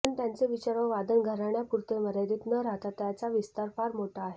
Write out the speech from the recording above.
पण त्यांचे विचार व वादन घराण्यापुर्ते मर्यादित न राहता त्याचा विस्तार फार मोठा आहे